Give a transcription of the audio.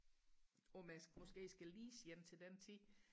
om jeg måske skal lease en til den tid